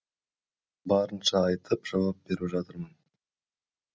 барынша айтып жауап беріп жатырмын